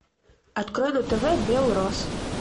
открой на тв белрос